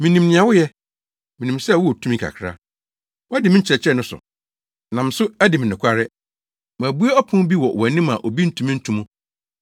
Minim nea woyɛ. Minim sɛ wowɔ tumi kakra. Woadi me nkyerɛkyerɛ no so, nam so adi me nokware. Mabue ɔpon bi wɔ wʼanim a obi ntumi nto mu.